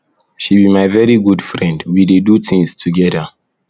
she be my very good friend we dey do things together